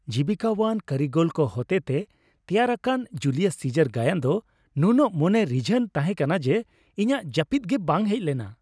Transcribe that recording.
ᱡᱤᱵᱤᱠᱟᱣᱟᱱ ᱠᱟᱹᱨᱤᱜᱚᱞ ᱠᱚ ᱦᱚᱴᱮᱛᱮ ᱛᱮᱭᱟᱨ ᱟᱠᱟᱱᱟ ᱡᱩᱞᱤᱭᱟᱥ ᱥᱤᱡᱟᱨ ᱜᱟᱭᱟᱱ ᱫᱚ ᱱᱩᱱᱟᱹᱜ ᱢᱚᱱᱮ ᱨᱤᱡᱷᱟᱱ ᱛᱟᱦᱮᱸ ᱠᱟᱱᱟ ᱡᱮ ᱤᱧᱟᱹᱜ ᱡᱟᱹᱯᱤᱫ ᱜᱮ ᱵᱟᱝ ᱦᱮᱡ ᱞᱮᱱᱟ ᱾